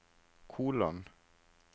kolon